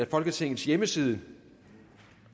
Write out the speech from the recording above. folketingets hjemmeside